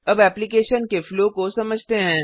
अब एप्लिकेशन के फ्लो को समझते हैं